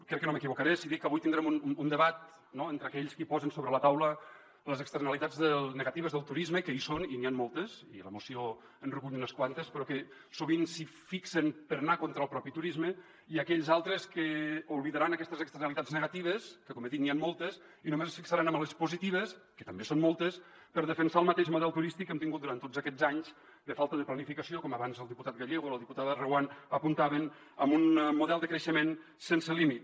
crec que no m’equivocaré si dic que avui tindrem un debat no entre aquells qui posen sobre la taula les externalitats negatives del turisme que hi són i n’hi han moltes i la moció en recull unes quantes però que sovint s’hi fixen per anar contra el propi turisme i aquells altres que oblidaran aquestes externalitats negatives que com he dit n’hi han moltes i només es fixaran en les positives que també són moltes per defensar el mateix model turístic que hem tingut durant tots aquests anys de falta de planificació com abans el diputat gallego o la diputada reguant apuntaven amb un model de creixement sense límit